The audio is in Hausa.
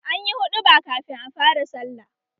Anyi huɗuba kafin a fara sallah